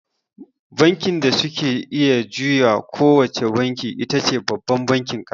Bankin da suke iya juya ko wace banki itace babban bankin ƙasa.